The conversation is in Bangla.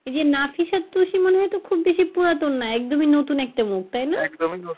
এইযে নাফিস আর তুসি তো মনে হয় তো খুব পুরাতন নয় একদমই নতুন একটা মুখ তাইনা?